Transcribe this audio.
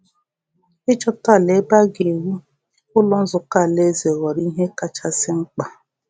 Ịchọta ala ebe a um ga-ewu Ụlọ Nzukọ Alaeze ghọrọ ihe kachasị mkpa.